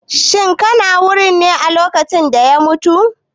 Shin kana wurin ne a lokacin da ya mutu?